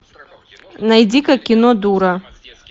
найди ка кино дура